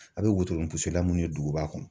A bɛ wotoro la mun ye duguba kɔnɔ